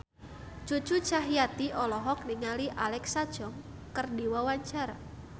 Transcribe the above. Cucu Cahyati olohok ningali Alexa Chung keur diwawancara